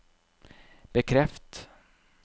bekreft